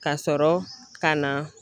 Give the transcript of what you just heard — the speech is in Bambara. Ka sɔrɔ ka na